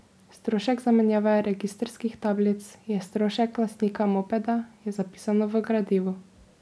Strošek zamenjave registrskih tablic je strošek lastnika mopeda, je zapisano v gradivu.